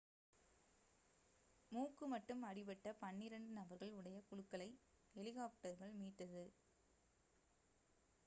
மூக்கு மட்டும் அடிபட்ட பன்னிரண்டு நபர்கள் உடைய குழுக்களை ஹெலிகாப்டர்கள் மீட்டது